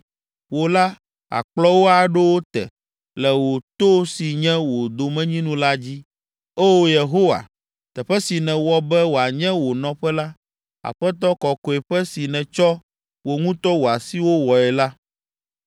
Wò la, àkplɔ wo aɖo wo te le wò to si nye wò domenyinu la dzi. O, Yehowa, teƒe si nèwɔ be wòanye wò nɔƒe la, Aƒetɔ, Kɔkɔeƒe si nètsɔ wò ŋutɔ wò asiwo wɔe la.